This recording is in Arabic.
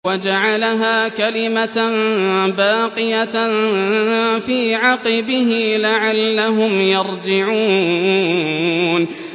وَجَعَلَهَا كَلِمَةً بَاقِيَةً فِي عَقِبِهِ لَعَلَّهُمْ يَرْجِعُونَ